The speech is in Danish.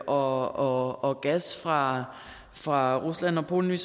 og og gas fra fra rusland og polen